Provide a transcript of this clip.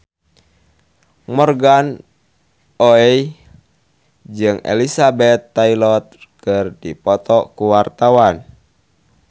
Morgan Oey jeung Elizabeth Taylor keur dipoto ku wartawan